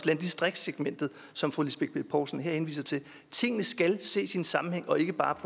landdistriktssegmentet som fru lisbeth bech poulsen her henviser til tingene skal ses i en sammenhæng og ikke bare